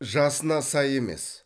жасына сай емес